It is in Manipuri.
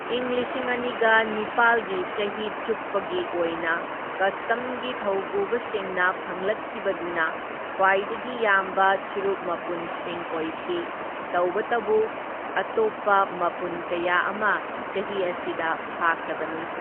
ꯏꯪ ꯂꯤꯁꯤꯡ ꯑꯅꯤꯒ ꯅꯤꯄꯥꯜꯒꯤ ꯆꯍꯤ ꯆꯨꯞꯄꯒꯤ ꯑꯣꯢꯅ ꯀꯁꯇꯝꯒꯤ ꯊꯧꯄꯨꯕꯁꯤꯡꯅ ꯐꯪꯂꯛꯈꯤꯕꯗꯨꯅ ꯈ꯭ꯋꯥꯢꯗꯒꯤ ꯌꯥꯝꯕ ꯆꯨꯔꯨꯞ ꯃꯄꯨꯟꯁꯤꯡ ꯑꯣꯢꯈꯤ, ꯇꯧꯕꯇꯕꯨ ꯑꯇꯣꯞꯄ ꯃꯄꯨꯟ ꯀꯌꯥ ꯑꯃ ꯆꯍꯤ ꯑꯁꯤꯗ ꯐꯥꯈ꯭ꯔꯕꯅꯤ꯫